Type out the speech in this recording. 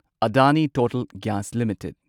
Adani total gas limited